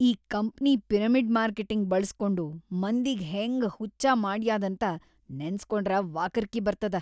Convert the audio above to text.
ಈ company pyramid marketing ಬಳ್ಸ್ಕೊಂಡು ಮಂದಿಗ್ ಹೆಂಗ್ ಹುಚ್ಚ ಮಾಡ್ಯಾದಂತ ನೆನಸ್ಕೊಂಡ್ರ ವಾಕರಿಕಿ ಬರ್ತದ.